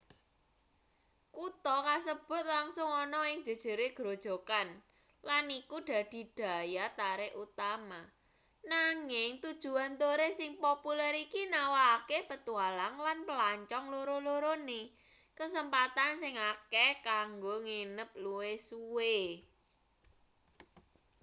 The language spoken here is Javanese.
kutha kasebut langsung ana ing jejere grojogan lan iku dadi daya tarik utama nanging tujuan turis sing populer iki nawakake petualang lan pelancong loro-lorone kesempatan sing akeh kanggo nginep luwih suwe